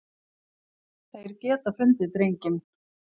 Þeir geta fundið drenginn.